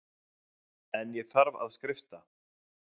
En ég þarf að skrifta.